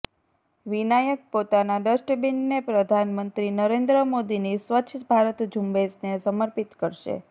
વિનાયક પોતાના ડસ્ટબિનને પ્રધાનમંત્રી નરેન્દ્ર મોદીની સ્વચ્છ ભારત ઝુંબેશને સમર્પિત કરશે